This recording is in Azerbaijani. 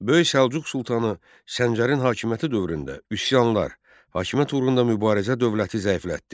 Böyük Səlcuq sultanı Səncərin hakimiyyəti dövründə üsyanlar, hakimiyyət uğrunda mübarizə dövləti zəiflətdi.